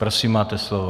Prosím, máte slovo.